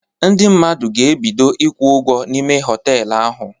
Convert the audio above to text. Ndị mmadụ ga-ebido ịkwụ ụgwọ ime họtelu ahụ